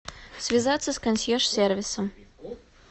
связаться с консьерж сервисом